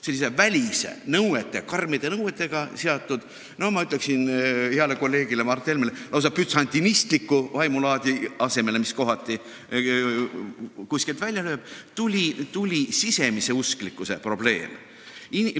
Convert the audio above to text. Sellise välise, karmide nõuetega seotud, ma ütleksin heale kolleegile Mart Helmele, et lausa bütsantsliku vaimulaadi asemele, mis kohati kuskilt välja lööb, tuli sisemise usklikkuse probleem.